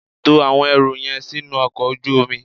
To àwọn ẹrù yẹn sínú ọkọ̀ ojú omi.